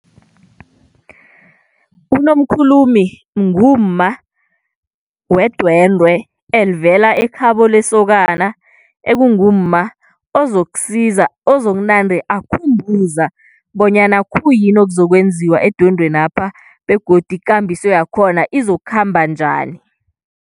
UNomkhulumi ngumma wedwendwe elivela ekhabo lesokana ekungumma ozokusiza ozokunande akhumbuza bonyana khuyini okuzokwenziwa edwendweni lapha begodu ikambiso yakhona izokukhamba njani.